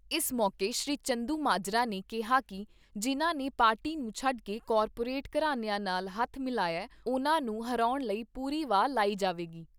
ਇਸ ਮੌਕੇ ਸ੍ਰੀ ਚੰਦੂਮਾਜਰਾ ਨੇ ਕਿਹਾ ਕਿ ਜਿਨ੍ਹਾਂ ਨੇ ਪਾਰਟੀ ਨੂੰ ਛੱਡ ਕੇ ਕਾਰਪੋਰੇਟ ਘਰਾਨਿਆਂ ਨਾਲ ਹੱਥ ਮਿਲਿਆ ਉਨ੍ਹਾਂ ਨੂੰ ਹਰਾਉਣ ਲਈ ਪੂਰੀ ਵਾਅ ਲਾਈ ਜਾਵੇਗੀ।